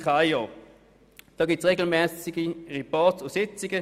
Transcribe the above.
Dafür gibt es regelmässige Reports und Sitzungen.